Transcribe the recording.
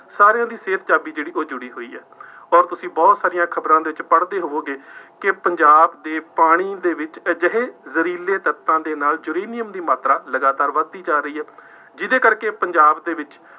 ਸਾਰਿਆਂ ਦੀ ਸਿਹਤ ਚਾਬੀ ਜਿਹੜੀ ਉਹ ਜੁੜੀ ਹੋਈ ਹੈ। ਅੋਰ ਤੁਸੀਂ ਬਹੁਤ ਸਾਰੀਆਂ ਖਬਰਾਂ ਦੇ ਵਿੱਚ ਪੜ੍ਹਦੇ ਹੋਵੋਂਗੇ ਕਿ ਪੰਜਾਬ ਦੇ ਪਾਣੀ ਦੇ ਵਿੱਚ ਅਜਿਹੇ ਜ਼ਹਿਰੀਲੇ ਤੱਤਾਂ ਦੇ ਨਾਲ ਯੂਰੇਨੀਅਮ ਦੀ ਮਾਤਰਾ ਲਗਾਤਾਰ ਵੱਧਦੀ ਜਾ ਰਹੀ ਹੈ। ਜਿਹਦੇ ਕਰਕੇ ਪੰਜਾਬ ਦੇ ਵਿੱਚ